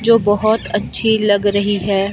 जो बहुत अच्छी लग रही है।